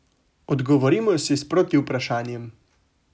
Odgovorimo si s protivprašanjem.